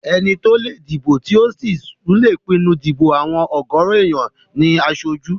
Ẹni tó lè dìbò tí ò sì tún lè pinnu dípò àwọn ọ̀gọ̀rọ̀ èèyàn ní aṣojú